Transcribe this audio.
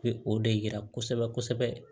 Bɛ o de yira kosɛbɛ kosɛbɛ